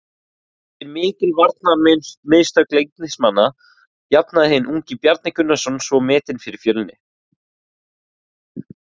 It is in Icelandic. Eftir mikil varnarmistök Leiknismanna jafnaði hinn ungi Bjarni Gunnarsson svo metin fyrir Fjölni.